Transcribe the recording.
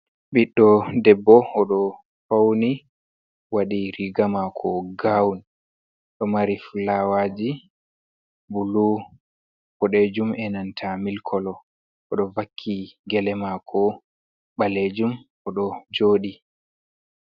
Bidɗo Debbo, odo fauni wadi riga maako gaawun. do mari fulawaajii bulu boɗejum e nanta mil kolo odo vakki gele maako baleejum odo joodi.